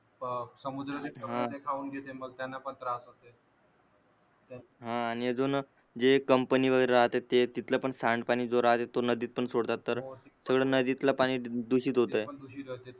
हा आणि अजून जे कम्पनी वगैरे राहते ते तिथल पण सांडपाणी जो राहते तो नदीतून सोडतात तर सगळ नदीतल पाणी दुषित होते.